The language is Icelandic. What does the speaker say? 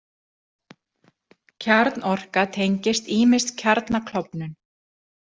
Kjarnorka tengist ýmist kjarnaklofnun.